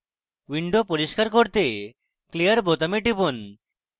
window পরিষ্কার করতে clear বোতামে টিপুন